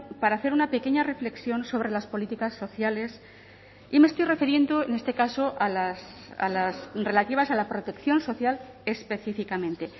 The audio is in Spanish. para hacer una pequeña reflexión sobre las políticas sociales y me estoy refiriendo en este caso a las relativas a la protección social específicamente